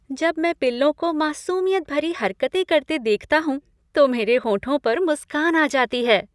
जब मैं पिल्लों को मासूमियत भरी हरकतें करते देखता हूँ तो मेरे होठों पर मुस्कान आ जाती है।